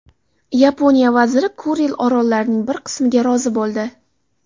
Yaponiya vaziri Kuril orollarining bir qismiga rozi bo‘ldi.